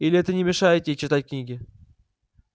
или это не мешает ей читать книги